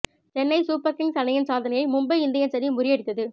Chennai super kings அணியின் சாதனையை Mumbai Indians அணி முறியடித்தது